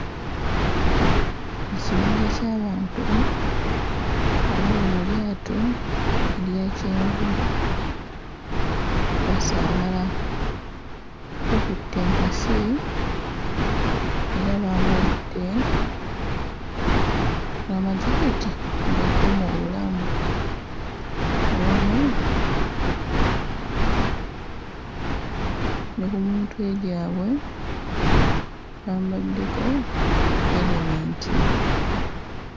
Ekibinja ky'abantu abali mu lyato erya kyenvu, basaabala, bakutte enkasi era bambadde n'amajaketi agakuuma obulamu awamu ne ku mitwe gyabwe bambaddeko erementi.